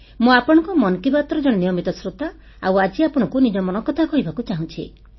ମୁଁ ଆପଣଙ୍କ ମନ କି ବାତ୍ର ଜଣେ ନିୟମିତ ଶ୍ରୋତା ଆଉ ଆଜି ଆପଣଙ୍କୁ ନିଜ ମନକଥା କହିବାକୁ ଚାହୁଁଛି